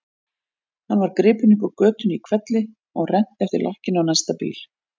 Hann var gripinn upp úr götunni í hvelli og rennt eftir lakkinu á næsta bíl.